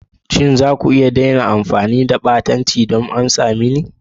Shin za ku iya daina amfani da harshen ɓatanci don amsa mani?